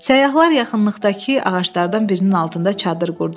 Səyyahlar yaxınlıqdakı ağaclardan birinin altında çadır qurdular.